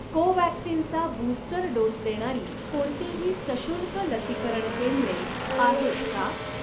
कोव्हॅक्सिन चा booster dose देणारी कोणतीही सशुल्क लसीकरण केंद्रे आहेत का?